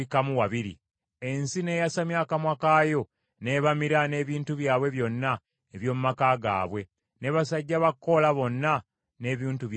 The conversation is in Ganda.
ensi n’eyasamya akamwa kaayo n’ebamira n’ebintu byabwe byonna eby’omu maka gaabwe, ne basajja ba Koola bonna n’ebintu byabwe byonna.